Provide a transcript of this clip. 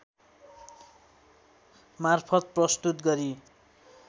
मार्फत प्रस्तुत गरी